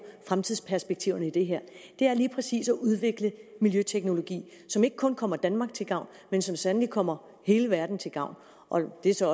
fremtidsperspektiverne i det her er lige præcis at udvikle miljøteknologi som ikke kun kommer danmark til gavn men som sandelig kommer hele verden til gavn og det er så